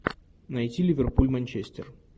найти ливерпуль манчестер